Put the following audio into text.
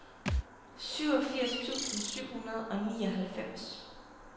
syvogfirs tusind syv hundrede og nioghalvfems